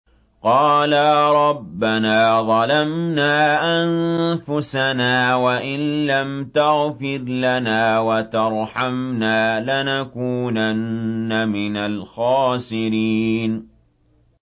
قَالَا رَبَّنَا ظَلَمْنَا أَنفُسَنَا وَإِن لَّمْ تَغْفِرْ لَنَا وَتَرْحَمْنَا لَنَكُونَنَّ مِنَ الْخَاسِرِينَ